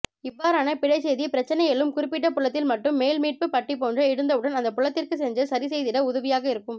இவ்வாறன பிழைச்செய்தி பிரச்சினை எழும் குறிப்பிட்டபுலத்தில் மட்டும் மேல்மீட்பு பட்டிபோன்ற எழுந்தவுடன் அந்த புலத்திற்கு சென்று சரிசெய்திட உதவியாக இருக்கும்